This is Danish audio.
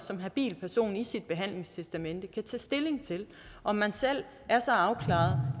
som habil person i sit behandlingstestamente kan tage stilling til om man selv er så afklaret